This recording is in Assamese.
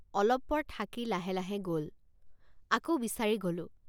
অলপ পৰ থাকি লাহে লাহে গ'ল ৷ আকৌ বিচাৰি গ'লোঁ।